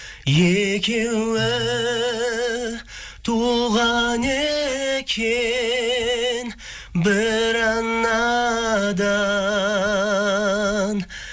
екеуі туған екен бір анадан